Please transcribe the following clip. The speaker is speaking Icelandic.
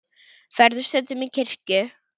Ferðu stundum í kirkju?